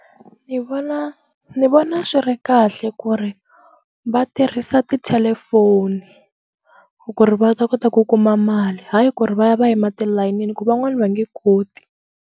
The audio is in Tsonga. Ni vona ni vona swi ri kahle ku ri va tirhisa tithelefoni ku ri va ta kota ku kuma mali hayi ku ri va ya va yima tilayinini ku van'wani va nge koti.